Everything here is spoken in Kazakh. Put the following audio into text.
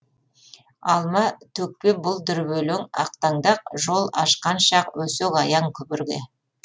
алма төкпе бұл дүрбелең ақтаңдақ жол ашқан шақ өсек аяң күбірге